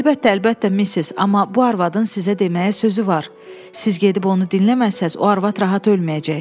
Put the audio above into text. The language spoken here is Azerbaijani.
Əlbəttə, əlbəttə Missis, amma bu arvadın sizə deməyə sözü var, siz gedib onu dinləməsəniz, o arvad rahat ölməyəcək.